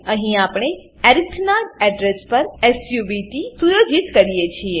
અહીં આપણે અરિથ નાં એડ્રેસ પર સબ્ટ સુયોજિત કરીએ છીએ